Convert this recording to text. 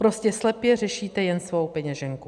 Prostě slepě řešíte jen svou peněženku.